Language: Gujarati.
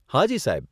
હાજી, સાહેબ.